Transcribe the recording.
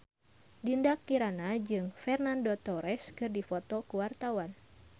Dinda Kirana jeung Fernando Torres keur dipoto ku wartawan